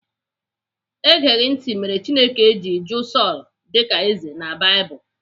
Egeghị ntị mere Chineke ji jụụ Sọl dịka eze na Baịbụl.